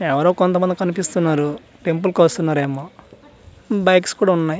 ఎవరో కొంతమంది కనిపిస్తున్నారు టెంపుల్ కొస్తునరేమో బైక్స్ కూడా ఉన్నాయ్.